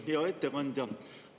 Hea ettekandja!